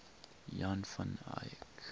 jan van eyck